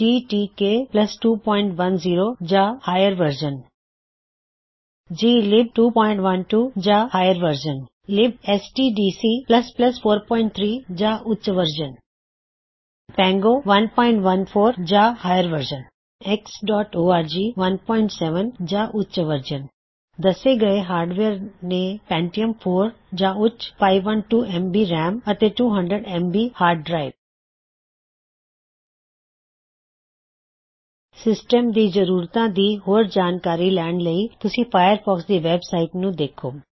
ਜੀ T K 210 ਜਾਂ ਉੱਚ ਵਰਸ਼ਨ ਜੀ ਲਿਬ 212 ਜਾਂ ਉੱਚ ਵਰਸ਼ਨ ਲਿਬਐਸਟੀਡੀਸੀ 43 ਜਾਂ ਉੱਚ ਵਰਸ਼ਨ ਪੈਂਗੋ 114 ਜਾਂ ਉੱਚ ਵਰਸ਼ਨ ਐਕ੍ਸ ਔਰਜ xਓਰਗ 17 ਜਾਂ ਉੱਚ ਵਰਸ਼ਨ ਦੱਸੇ ਹੋਏ ਹਾਰ੍ਡਵੇਅਰ ਨੇ ਪੈੰਟਿਅਮ 4 ਜਾਂ ਉੱਚ 512ਐਮਬੀ ਰੈਮ ਅਤੇ 200 ਐਮਬੀ ਹਾਰਡ ਡਰਾਇਵ ਸਿਸਟਮ ਦੀ ਜ਼ਰੂਰਤਾਂ ਤੇ ਹੋਰ ਜਾਣਕਾਰੀ ਲੈਣ ਲਈ ਤੁਸੀਂ ਫਾਇਰਫੌਕਸ ਦੀ ਵੇਬ ਸਾਇਟ ਨੂੰ ਦੇਖੋ